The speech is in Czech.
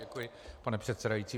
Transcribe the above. Děkuji, pane předsedající.